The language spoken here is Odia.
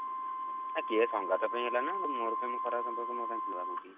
ଆ କିଏ ସଂଗାତ ପାଇଁ ହେଲାନି ନା ମୋର କଣ ଏମିତି ଖରାପ ସମ୍ପର୍କ କଉଠି